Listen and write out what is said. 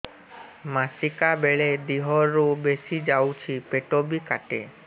ମାସିକା ବେଳେ ଦିହରୁ ବେଶି ଯାଉଛି ପେଟ ବି କାଟେ